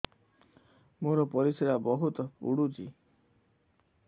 ମୋର ପରିସ୍ରା ବହୁତ ପୁଡୁଚି